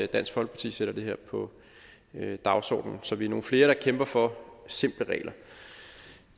dansk folkeparti sætter det her på dagsordenen så vi er nogle flere der kæmper for simple regler